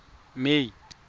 may